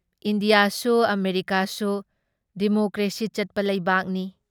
ꯏꯟꯗꯤꯌꯥꯁꯨ ꯑꯃꯦꯔꯤꯀꯥꯁꯨ ꯗꯤꯃꯣꯀ꯭ꯔꯦꯁꯤ ꯆꯠꯄ ꯂꯩꯕꯥꯛꯅꯤ ꯫